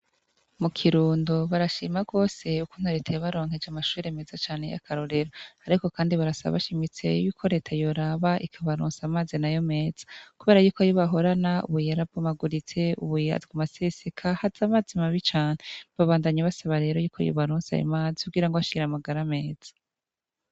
Mu Kirundo barashima cane ukuntu leta yabaronkeje amashure meza cane y'akarorero ariko kandi barasaba bashimitse yuko leta yoraba ikabaronsa amazi nayo meza kubera yuko ayo bahorana ubu yarabomaguritse aguma aseseka haza amazi mabi cane babandanya basaba rero yuko yobaronsa ayo mazi kugirango bagire amagara meza.